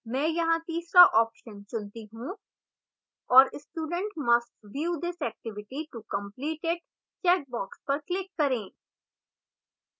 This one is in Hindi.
मैं यहाँ तीसरा option चुनती हूँ और student must view this activity to complete it checkbox पर click करें